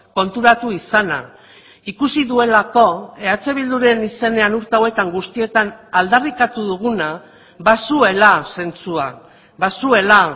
konturatu izana ikusi duelako eh bilduren izenean urte hauetan guztietan aldarrikatu duguna bazuela zentzua bazuela